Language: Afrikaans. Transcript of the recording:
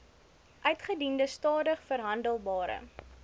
uitgediende stadig verhandelbare